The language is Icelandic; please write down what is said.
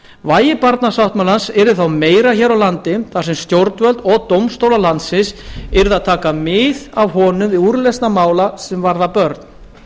vægi barnasáttmálans yrði þá meira hér á landi þar sem stjórnvöld og dómstólar landsins yrðu að taka mið af honum við úrlausnir mála sem varða börn